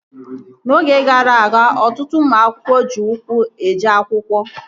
N'oge gara aga, ọtụtụ ụmụ akwụkwọ ji ụkwụ eje akwụkwọ